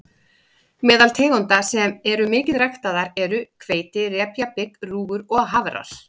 Meðal tegunda sem eru mikið ræktaðar eru hveiti, repja, bygg, rúgur og hafrar.